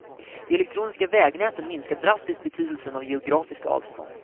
De elektroniska vägnäten minskar drastiskt betydelsen av geografiska avstånd.